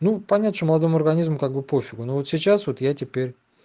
ну понять что молодому организму как бы пофигу но вот сейчас вот я теперь